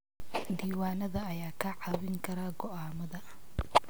Diiwaanada ayaa kaa caawin kara go'aamada.